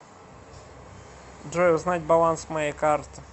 джой узнать баланс моей карты